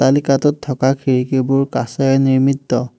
অট্টালিকাটোত থকা খিৰিকীবোৰ কাঁচেৰে নিৰ্মিত।